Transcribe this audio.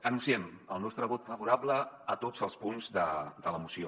anunciem el nostre vot favorable a tots els punts de la mo·ció